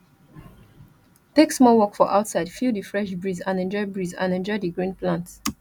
take small walk for outside feel the fresh breeze and enjoy breeze and enjoy the green plants